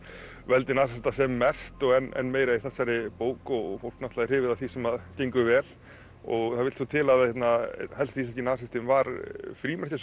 veldi nasista sem mest en meira í þessari bók og fólk náttúrulega er hrifið af því sem gengur vel og það vill svo til að einn helsti íslenski nasistinn var